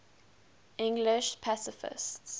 english pacifists